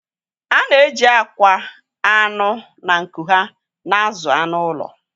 A na-eji akwa, anụ, na nku ha na-azụ anụ ụlọ.